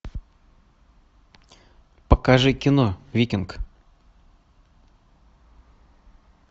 покажи кино викинг